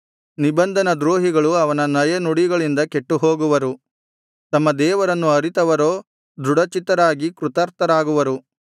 ನಿಬಂಧನ ದ್ರೋಹಿಗಳು ಅವನ ನಯನುಡಿಗಳಿಂದ ಕೆಟ್ಟುಹೋಗುವರು ತಮ್ಮ ದೇವರನ್ನು ಅರಿತವರೋ ದೃಢಚಿತ್ತರಾಗಿ ಕೃತಾರ್ಥರಾಗುವರು